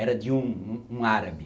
Era de um um árabe.